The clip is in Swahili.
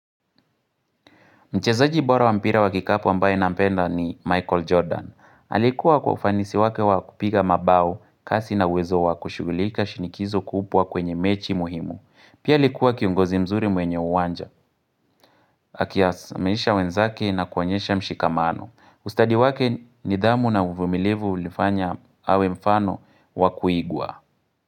Mchezaji bora wampira wakikapu ambaye na mpenda ni Michael Jordan. Alikuwa kwa ufanisi wake wakupiga mabao, kasi na uwezo wakushughulika shinikizo kubwa kwenye mechi muhimu. Pia alikuwa kiongozi mzuri mwenye uwanja. Akiasa, amelisha wenzake na kuonyesha mshikamano. Ustadhi wake nidhamu na uvumilivu ulifanya awe mfano wakuigwa.